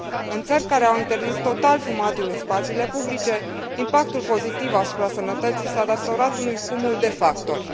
În țări care au interzis total fumatul în spațiile publice impactul pozitiv asupra sănătății s a datorat unui cumul de factori.